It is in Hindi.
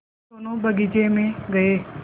हम दोनो बगीचे मे गये